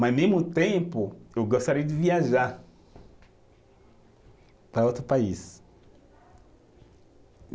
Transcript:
Mas, ao mesmo tempo, eu gostaria de viajar para outro país.